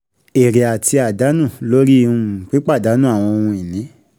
Èrè àti àdánù lórí um pípàdànù àwọn ohun ìní.